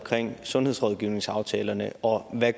sundhedsrådgivningsaftalerne og hvad